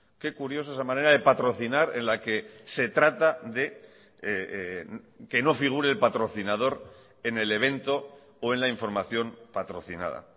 qué curioso esa manera de patrocinar en la que se trata de que no figure el patrocinador en el evento o en la información patrocinada